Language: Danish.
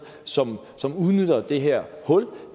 som som udnytter det her hul